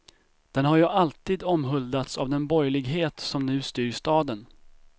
Den har ju alltid omhuldats av den borgerlighet som nu styr staden.